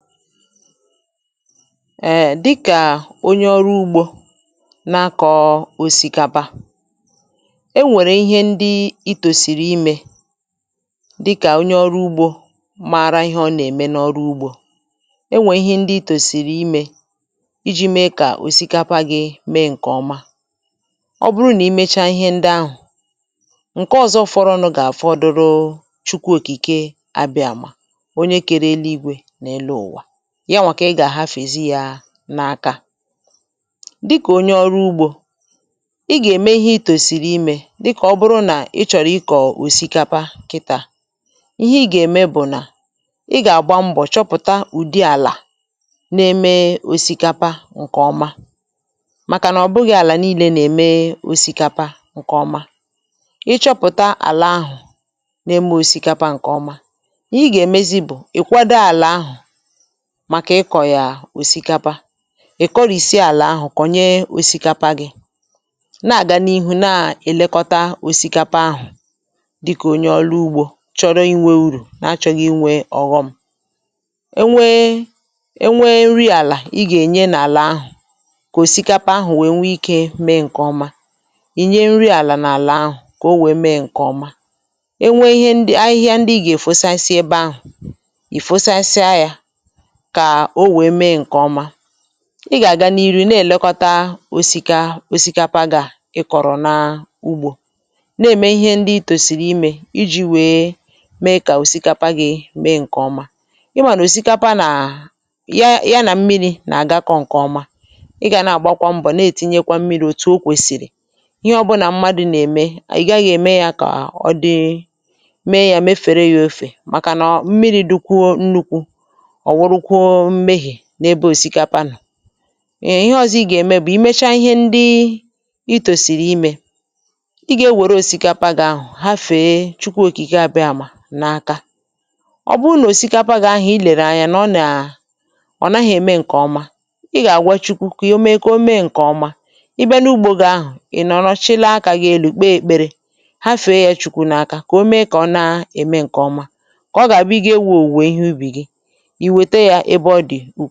um dịkà onye ọrụ ugbȯ na-akọ̀ọ òsìkapa, e nwèrè ihe ndi i tòsìrì imė dịkà onye ọrụ ugbȯ mara ihe ọ nà-ème n’ọrụ ugbȯ, e nwèrè ihe ndi i tòsìrì imė iji̇ mee kà òsikapa gi̇ mee ǹkè ọma, ọ bụrụ nà imecha ihe ndi ahụ̀, ǹke ọ̀zọ fọrọ nọ gà-àfọdụrụ Chukwu òkìkè a bịa mà onye kere eli igwe na élú ụwa, yawa kà ị gà-àhafezi ya n’akȧ. Dịkà onye ọrụ ugbȯ ị gà-ème ihe ị̇ tòsìrì imė dịkà ọ bụrụ nà ị chọ̀rọ̀ ị kọ̀ òsikapa kịtà, ihe ị gà-ème bụ̀ nà, ị gà-àgba mbọ̀ chọpụ̀ta ụ̀dị àlà na-eme òsikapa ǹkè ọma, màkà nà ọ bụghị̇ àlà nii̇lė nà-ème òsikapa ǹkè ọma, ị chọpụ̀ta àlà ahụ̀ na-eme òsikapa ǹkè ọma, i gà-èmezi bụ̀ ị̀ kwado àlà ahụ̀ màkà ịkọ̀ yà òsìkapa, ị̀ kọrị̀sịa àlà ahụ̀ kònye òsìkapa gị̇, na-àgà n’ihu na-èlekọta òsìkapa ahụ̀ dịkà onye ọrụ ugbȯ chọrọ inwė urù na-achọ̇ghị̇ inwė ọ̀ghọm, e nwee e nwee nri àlà ị gà-ènye n’àlà ahụ̀ kà òsìkapa ahụ̀ nwèe nwee ikė mėė ǹkè ọma, ì nye nri àlà n’àlà ahụ̀ kà o wèe mėė ǹkè ọma, e nwee ihẹ ndị ahịhẹa ndị ị gà-èfo sensi ebe ahụ̀ ì fosensia ya kà o wèe mee ǹkèọma, ị gà-àga n’iri̇ na-èlekọta osikȧ osikapa gà ị kọ̀rọ̀ n’ugbȯ na-ème ihe ndị i tòsìrì imė iji̇ wèe mee kà òsikapa gị̇ mee ǹkèọma, ị mànà osikapa nà ya nà mmiri̇ nà-àgakọ ǹkèọma ị gà na-àgbakwa mbọ̀ na-ètinyekwa mmiri̇ òtù o kwèsìrì, ihe ọbụ̇ nà mmadụ̇ nà-ème ị̀ gaghị̇ ème ya kà ọ dị, mee yȧ mefere ya ofè màkà nà mmiri̇ dịkwuo nnukwu ọwurukwuo mmehie n'ebe òsìkapa nnọ, ééh ìhè ọzọ ịga eme bu emecha ihe ndị ị̀ tòsìrì ime, ịga èwere osikapa gị ahụ hafè Chukwu òkìkè a bịa mà nà áká, oburu na osikapa gị ahụ ị̀lere anya na ọna, onaghi eme nke ọma, ịga àgwà Chukwu ka ome ka ome nkè ọma, ị̀ bịa n'ugbo gị ahụ, inọrọ chịlie aka gị elu kpe ekpere hafè ya Chukwu na aka kà ome kà ọ na eme nke ọma, ka ọ ga abụ ịga iwu ọwụwe ihe ubì gị iweta ya ebe ọdi